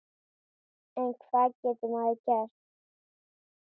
En hvað getur maður gert?